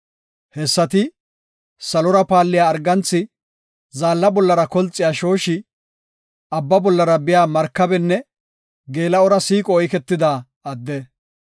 Hessati, salora paalliya arganthi, zaalla bollara kolxiya shooshi abba bollara biya markabenne geela7ora shiiqo oyketida adde.